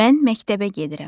Mən məktəbə gedirəm.